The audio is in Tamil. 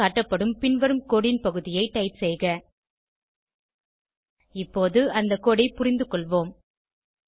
திரையில் காட்டப்படும் பின்வரும் கோடு ன் பகுதியை டைப் செய்க இப்போது அந்த கோடு ஐ புரிந்துகொள்வோம்